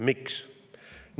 Miks?